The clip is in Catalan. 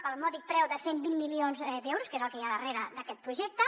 pel mòdic preu de cent i vint milions d’euros que és el que hi ha darrere d’aquest projecte